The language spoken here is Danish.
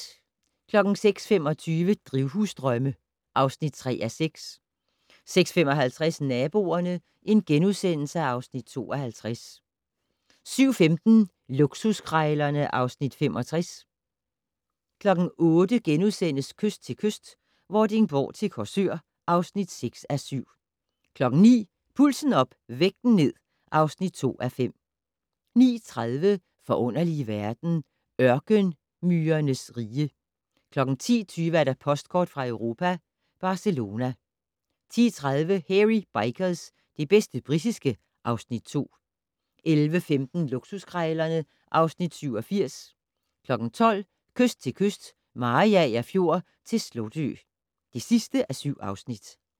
06:25: Drivhusdrømme (3:6) 06:55: Naboerne (Afs. 52)* 07:15: Luksuskrejlerne (Afs. 65) 08:00: Kyst til kyst - Vordingborg til Korsør (6:7)* 09:00: Pulsen op - vægten ned (2:5) 09:30: Forunderlige verden - Ørkenmyrernes rige 10:20: Postkort fra Europa: Barcelona 10:30: Hairy Bikers - det bedste britiske (Afs. 2) 11:15: Luksuskrejlerne (Afs. 87) 12:00: Kyst til kyst - Mariager Fjord til Slotø (7:7)